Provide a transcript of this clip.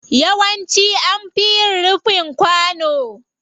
Yawanci an fi yin rufin kwano.